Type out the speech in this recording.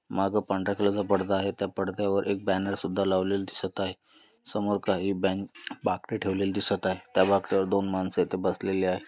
माग पांढऱ्या कलर चा परदा आहे त्या पडद्यावर एक बॅनर सुद्धा लावलेला दिसत आहे समोर काही बेन बाकडे ठेवलेली दिसत आहे त्या बाकड्यावर दोन माणस इथे बसलेले आहे.